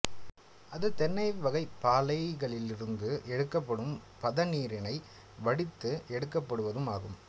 அது தென்னை வகைப் பாளைகளிலிருந்து எடுக்கப்படும் பதநீரினை வடித்து எடுக்கப்படுவதும் ஆகும்